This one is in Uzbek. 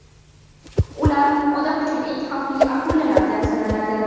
Ular odam uchun eng xavfli akulalardan sanaladi.